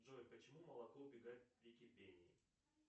джой почему молоко убегает при кипении